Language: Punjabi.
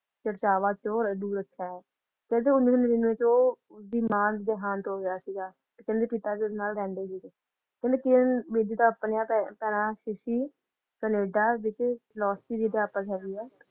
ਚਰਚਾਵਾਂ ਤੋਂ ਦੂਰ ਅੱਛਾ ਹੈ ਕਹਿੰਦੇ ਉੱਨੀ ਸੌ ਨੜੀਨਵੇਂ ਚ ਉਹ ਉਸ ਦੀ ਮਾਂ ਦਾ ਦੇਹਾਂਤ ਹੋ ਗਿਆ ਸੀਗਾ ਤੇ ਕਹਿੰਦੇ ਪਿਤਾ ਜੀ ਉਸ ਨਾਲ ਰਹਿੰਦੇ ਸੀਗੇ ਤੇ ਕਹਿੰਦੇ ਕਿਰਨ ਬੇਦੀ ਤਾਂ ਆਪਣਿਆਂ ਪੈਰ ਪੈਰਾਂ ਤੇ ਸੀ ਕਨੇਡਾ ਵਿਖੇ